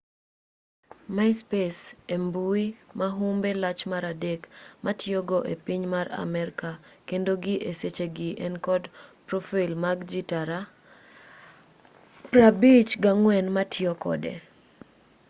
myspace e mbui ma humbe lach mar adek mitiyogo e piny mar amerka kendo gi e sechegi en kod profail mag ji tara 54 matiyo kode